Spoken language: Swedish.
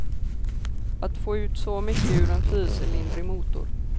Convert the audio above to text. Att få ut så mycket ur en fyrcylindrig motor.